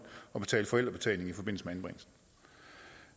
og betale forældrebetaling i forbindelse